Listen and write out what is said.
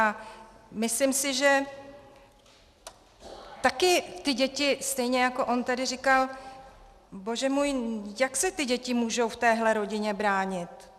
A myslím si, že taky ty děti, stejně jako on tady říkal, bože můj, jak se ty děti můžou v téhle rodině bránit?